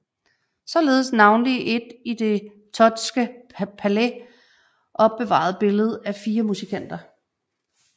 Således navnlig et i det Thottske Palais opbevaret billede af fire musikanter